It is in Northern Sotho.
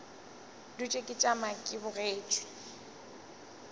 dutše ke tšama ke bogetše